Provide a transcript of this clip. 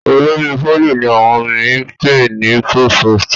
olórí poly ní àwọn mi pe ní provost.